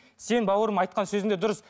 сен бауырым айтқан сөзің де дұрыс